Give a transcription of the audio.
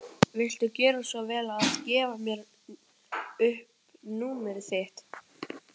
Viltu gjöra svo vel að gefa mér upp númerið þitt?